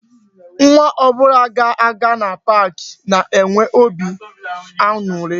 Nwa ọbụla ga-aga na park na-enwe óbị aṅụrị